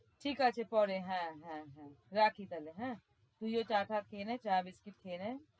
ঠিক আছে পরে হ্যাঁ হ্যাঁ। রাখি তাহলে হ্যাঁ? তুইও চা টা খেয়ে নে চা বিস্কিট খেয়ে নে।